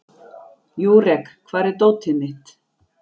Júrek, hvar er dótið mitt?